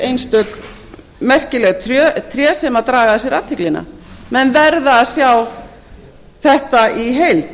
einstök merkileg tré sem draga að sér athyglina menn verða að sjá þetta í heild